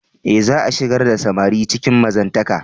E, za'a shigar da samari cikin mazantaka.